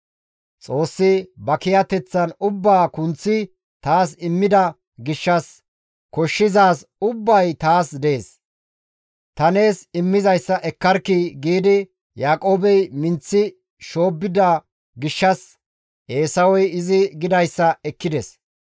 Xoossi ba kiyateththan ubbaa kunththi taas immida gishshas koshshizaazi ubbay taas dees; ta nees immizayssa ekkarkkii» giidi Yaaqoobey minththi shoobbida gishshas Eesawey izi gidayssa ekkides.